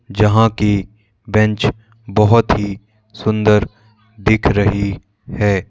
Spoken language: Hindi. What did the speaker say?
जहां की बेंच बहोत ही सुंदर दिख रही है।